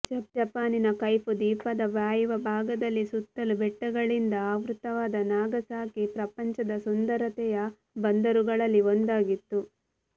ಜಪಾನಿನ ಕೈಫು ದ್ವೀಪದ ವಾಯುವ್ಯ ಭಾಗದಲ್ಲಿ ಸುತ್ತಲೂ ಬೆಟ್ಟಗಳಿಂದ ಆವೃತ್ತವಾದ ನಾಗಸಾಕಿ ಪ್ರಪಂಚದ ಸುಂದರತೆಯ ಬಂದರುಗಳಲ್ಲಿ ಒಂದಾಗಿತ್ತು